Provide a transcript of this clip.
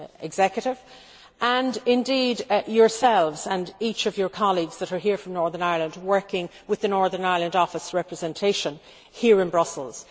Executive, and indeed yourselves and each of your colleagues that are here from Northern Ireland working with the Northern Ireland Office representation here in Brussels.